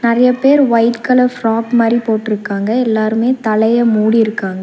நெறைய பேர் white colour frock மாரி போட்டுருக்காங்க எல்லாருமே தலைய மூடிருக்காங்க.